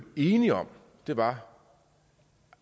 enige om var